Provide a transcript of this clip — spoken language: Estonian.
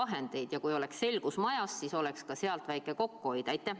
Kas siis, kui oleks selgus majas, tuleks ka sealt väike kokkuhoid?